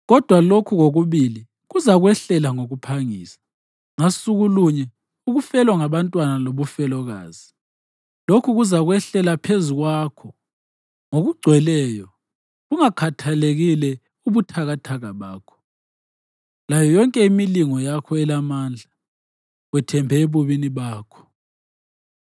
Kodwa lokhu kokubili kuzakwehlela ngokuphangisa, ngasuku lunye ukufelwa ngabantwana lobufelokazi. Lokhu kuzakwehlela phezu kwakho ngokugcweleyo, bungakhathelekile ubuthakathi bakho layo yonke imilingo yakho elamandla.